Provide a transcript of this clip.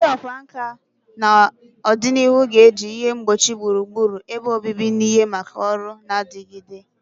Ndị ọkwá nkà na ọdịnihu ga-eji ihe ngbochi gburugburu ebe obibi na ihe maka ọrụ na-adigide.